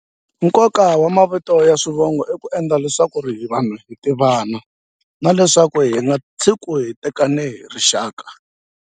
Nkoka wa mavito ya swivongo i ku endla leswaku ri vanhu hi tivana na leswaku hi nga tshiki hi tekane hi rixaka.